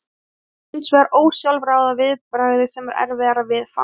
Það er hins vegar ósjálfráða viðbragðið sem er erfiðara viðfangs.